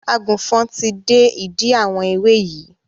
Àgùnfọn ti dé ìdí àwọn ewé yìí